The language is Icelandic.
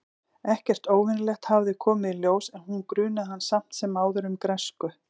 Ekkert óvenjulegt hafði komið í ljós- en hún grunaði hann samt sem áður um græsku.